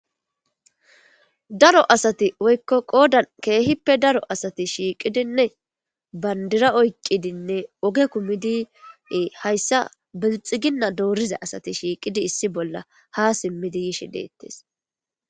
daro asati woykko qoodan keehippe daro asati shiiqidinne bandira oyqidinne oge kumidiee hayssa belxiginna dooriza asati shiiqidi issi bolla ha simmidi yishe deettes